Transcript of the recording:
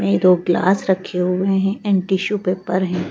ये दो ग्लास रखे हुए हैं एंड टिश्यू पेपर हैं।